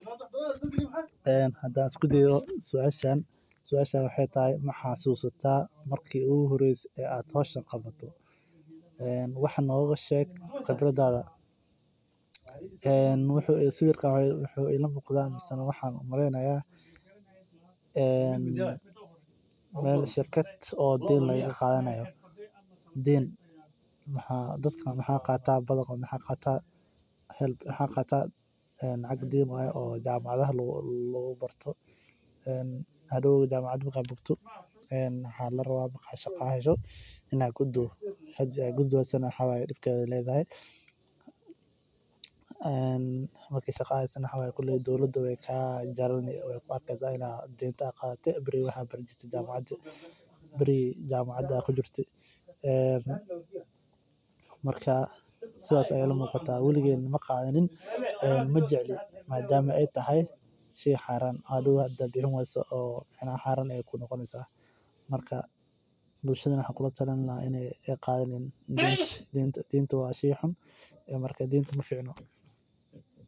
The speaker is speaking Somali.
Hadaan isku dayo suashan waxaay tahay ma xasuusta marki oogu horeyse ee aad howshan qabato waxaa aay ila tahay shirkad bixineyso lacagaha deemaha ama wax yaabaha xiisaha aan adhiga kuu qabe ayaa lagu darsadaa suugada waxeey ledahay faaidoyin badan ayaa laga helaa hilib mida kowaad waa daqtarka cafimaadka oo wareego sida cudurka ayago tagin xafisyada.